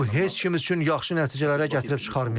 Bu heç kim üçün yaxşı nəticələrə gətirib çıxarmayacaq.